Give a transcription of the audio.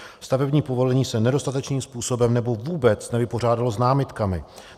Stavební povolení se nedostatečným způsobem nebo vůbec nevypořádalo s námitkami.